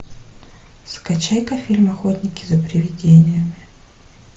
скачай ка фильм охотники за привидениями